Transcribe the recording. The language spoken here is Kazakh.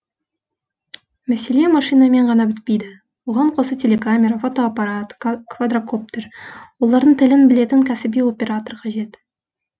мәселе машинамен ғана бітпейді оған қоса телекамера фотоаппарат квадрокоптер олардың тілін білетін кәсіби оператор қажет